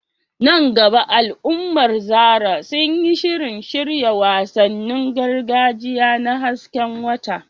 A nan gaba al’ummar Zarah sun yi shirin shirya wasannin gargajiya na hasken wata.